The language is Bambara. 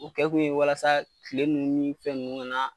O kɛ kun ye walasa kile nunnu ni fɛn nunnu ga na